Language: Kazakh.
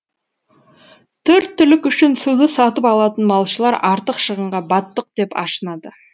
төрт түлік үшін суды сатып алатын малшылар артық шығынға баттық деп ашынады